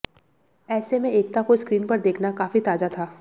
ऐसे में एकता को स्क्रीन पर देखना काफी ताज़ा था